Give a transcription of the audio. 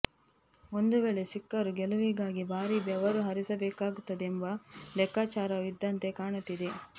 ಒಂದು ವೇಳೆ ಸಿಕ್ಕರೂ ಗೆಲುವಿಗಾಗಿ ಭಾರೀ ಬೆವರು ಹರಿಸಬೇಕಾಗುತ್ತದೆ ಎಂಬ ಲೆಕ್ಕಾಚಾರವೂ ಇದ್ದಂತೆ ಕಾಣುತ್ತಿದೆ